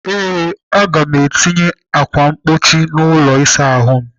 Ee, Aga m etinye ákwà mkpuchi n'ụlọ ịsa ahụ m.